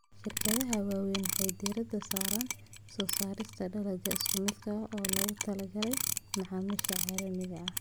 Shirkadaha waaweyn waxay diiradda saaraan soo saarista dalagyo isku mid ah oo loogu talagalay macaamiisha caalamiga ah.